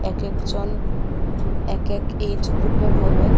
এক এক জন এক এক এজ গ্রুপের হবে।